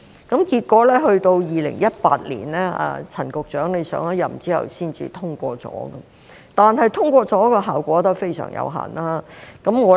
結果到2018年，陳局長上任之後才獲得通過，但通過的效果仍然非常有限。